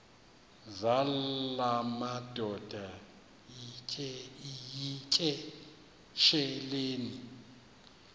zala madoda yityesheleni